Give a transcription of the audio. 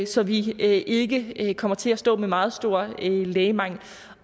så vi ikke kommer til at stå med meget stor lægemangel